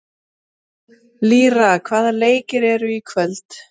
Lýra, hvaða leikir eru í kvöld?